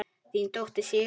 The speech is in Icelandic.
Þín dóttir, Sigrún Harpa.